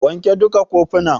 Wanke duka kofunan.